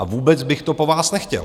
A vůbec bych to po vás nechtěl.